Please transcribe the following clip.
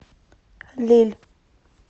лель